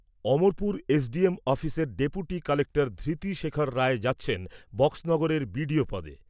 Amarpur SDM অফিসের deputy collector Dhriti Shekhar Roy যাচ্ছেন বক্সনগরের বিডিও পদে।